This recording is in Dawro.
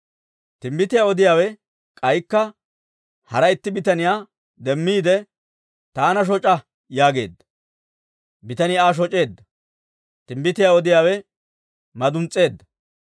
Timbbitiyaa odiyaawe k'aykka hara itti bitaniyaa demmiide, «Taana shoc'a» yaageedda. Bitanii Aa shoc'eedda; timbbitiyaa odiyaawe maduns's'eedda.